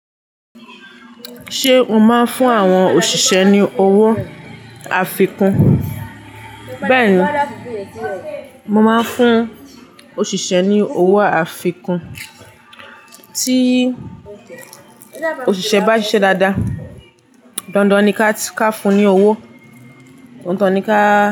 Ṣé o máa ń fún àwọn òṣìṣẹ́ ní owó àfikún? Bẹ́ẹ̀ni, mo máa ń fún òṣìṣẹ́ ní owó àfikún. Tí òṣìṣẹ́ bá ṣiṣẹ́ dáadáa, dandan ni ká fún un ní owó, dandan ni ká.